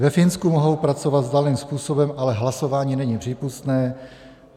Ve Finsku mohou pracovat vzdáleným způsobem, ale hlasování není přípustné.